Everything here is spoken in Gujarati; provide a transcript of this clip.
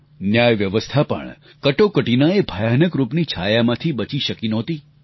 ન્યાય વ્યવસ્થા પણ કટોકટીના એ ભયાનક રૂપની છાયામાંથી બચી શકી નહોતી